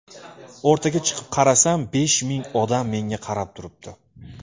O‘rtaga chiqib qarasam besh ming odam menga qarab turibdi.